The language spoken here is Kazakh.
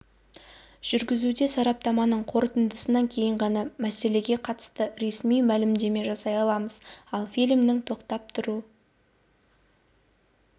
жүргізуде сараптаманың қорытындысынан кейін ғана мәселеге қатысты ресми мәлімдеме жасай аламыз ал фильмнің тоқтап тұру